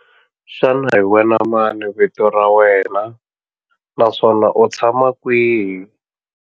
Xana hi wena mani vito ra wena naswona u tshama kwihi?